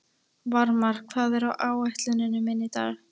Varmar, hvað er á áætluninni minni í dag?